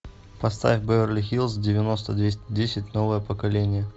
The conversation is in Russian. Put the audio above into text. поставь беверли хиллз девяносто двести десять новое поколение